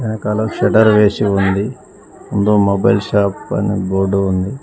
వెనకాల శెటర్ వేశి ఉంది ముందు మొబైల్ షాప్ అని బోర్డు ఉంది.